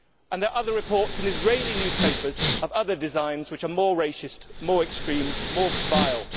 There are other reports in Israeli newspapers of other designs that are more racist, more extreme, more vile.